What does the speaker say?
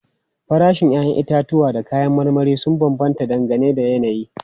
Farashin 'ya'yan itatuwa da kayan marmari sun bambanta dangane da yanayi.